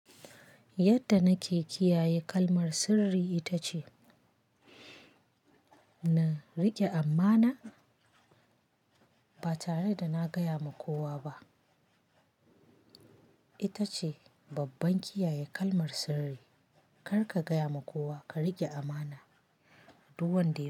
Yadda nake kiyaye kalmar sirri ita ce, na rike amana ba tare da na gaya wa kowa ba. Ita ce babban kiyaye kalmar sirri. Kar ka gaya wa kowa, ka rike amana duk wanda ya yi.